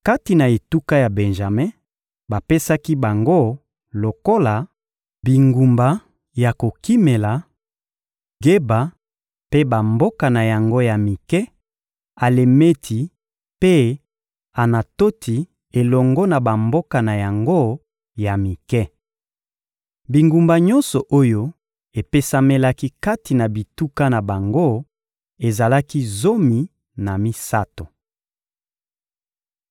Kati na etuka ya Benjame, bapesaki bango lokola bingumba ya kokimela: Geba mpe bamboka na yango ya mike, Alemeti mpe Anatoti elongo na bamboka na yango ya mike. Bingumba nyonso oyo epesamelaki kati na bituka na bango ezalaki zomi na misato. (Joz 21.5-8)